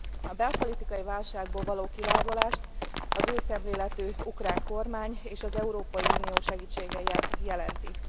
A belpolitikai válságból való kilábalást az új szemléletű ukrán kormány és az Európai Unió segítsége jelenti.